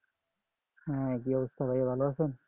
আহ কি অবস্থা ভাইয়া ভালো আছেন?